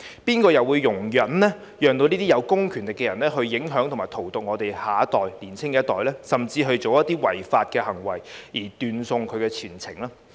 誰又會容忍這些有公權力的人影響及荼毒我們的年輕一代，甚至做出一些違法行為而斷送前程呢？